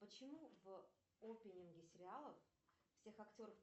почему в опенинге сериалов всех актеров